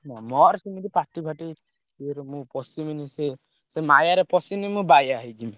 ମୋର ସେମିତି party ଫାଟି ୟେରେ ମୁଁ ପସିବିନି ସେ ସେ ମାୟାରେ ପଶିବି ମୁଁ ବାୟା ହେଇଯିବି।